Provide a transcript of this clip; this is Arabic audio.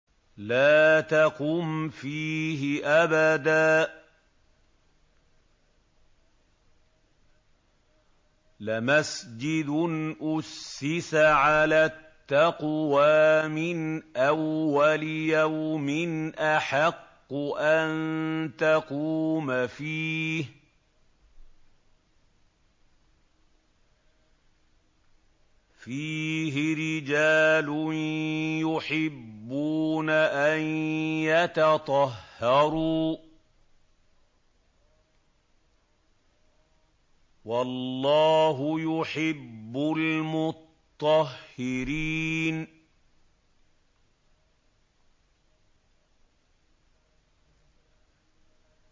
لَا تَقُمْ فِيهِ أَبَدًا ۚ لَّمَسْجِدٌ أُسِّسَ عَلَى التَّقْوَىٰ مِنْ أَوَّلِ يَوْمٍ أَحَقُّ أَن تَقُومَ فِيهِ ۚ فِيهِ رِجَالٌ يُحِبُّونَ أَن يَتَطَهَّرُوا ۚ وَاللَّهُ يُحِبُّ الْمُطَّهِّرِينَ